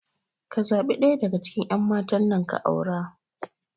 Ka zaɓi ɗaya a cikin ƴan matan nan ka aura